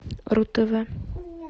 ру тв